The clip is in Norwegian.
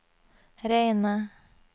reine